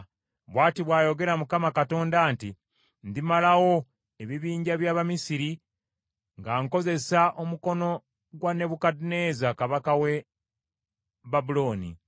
“ ‘Bw’ati bw’ayogera Mukama Katonda nti, “ ‘Ndimalawo ebibinja by’Abamisiri nga nkozesa omukono gwa Nebukadduneeza kabaka w’e Babulooni.